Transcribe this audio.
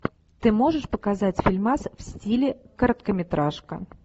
ты можешь показать фильмас в стиле короткометражка